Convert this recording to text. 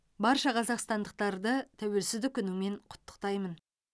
барша қазақстандықтарды тәуелсіздік күнімен құттықтаймын